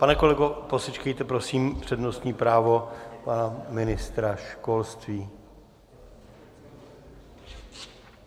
Pane kolego, posečkejte, prosím, přednostní právo pana ministra školství.